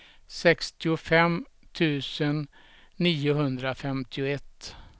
sextiofem tusen niohundrafemtioett